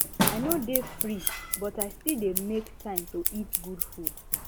i no dey free but i still dey make time to eat good food